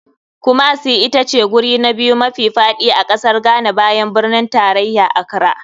Kumasi itace guri na biyu mafi faɗi a kasar ghana bayan birnin tarayarta, accra.